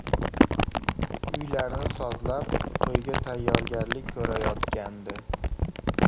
Uylarni sozlab, to‘yga tayyorgarlik ko‘rayotgandi.